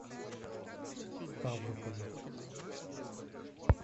ставрополю